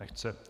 Nechce.